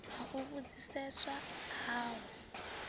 ha u vhudziseswa a ho